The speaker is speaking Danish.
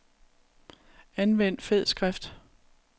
Anvend fed skrift.